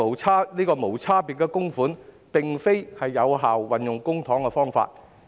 此外，無差別供款並非有效運用公帑的方法。